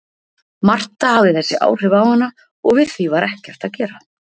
Marta hafði þessi áhrif á hana og við því var ekkert að gera.